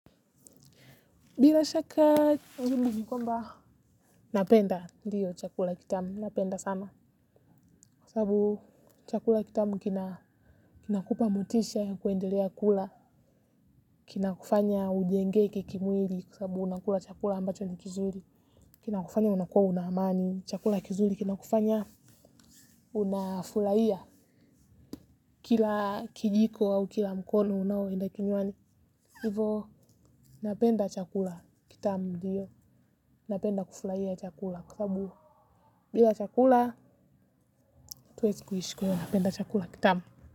Bila shaka jibu ni kwamba napenda ndiyo chakula kitamu napenda sana kwa sababu chakula kitamu kina kupa motisha ya kuendelea kula kina kufanya ujenge kikimwili kwa sababu unakula chakula ambacho ni kizuri kina kufanya unakua una amani chakula kizuri kina kufanya unafurahia kila kijiko au kila mkono unaoenda kinywani. Hivo napenda chakula kitamu. Napenda kufurahia chakula. Kwa sababu bila chakula hatuezi kuishi kwa iyo napenda chakula kitamu.